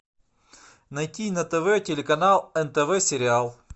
найти на тв телеканал нтв сериал